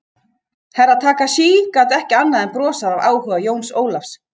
Herra Takashi gat ekki annað en brosað af áhuga Jóns Ólafs.